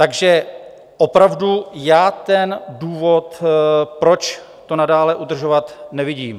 Takže opravdu já ten důvod, proč to nadále udržovat, nevidím.